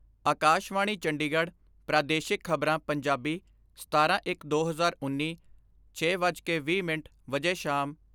ਆਕਾਸ਼ਵਾਣੀ ਚੰਡੀਗੜ੍ਹ ਪ੍ਰਾਦੇਸ਼ਿਕ ਖਬਰਾਂ, ਪੰਜਾਬੀ ਸਤਾਰਾਂ ਇੱਕ ਦੋ ਹਜ਼ਾਰ ਉੱਨੀ, ਛੇ ਵੱਜ ਕੇ ਵੀਹ ਮਿੰਟ ਵਜੇ ਸ਼ਾਮ